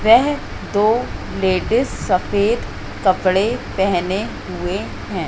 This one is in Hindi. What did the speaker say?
वह दो लेडीज सफेद कपड़े पहने हुए हैं।